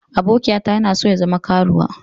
Abokiyata yana so ya zama karuwa.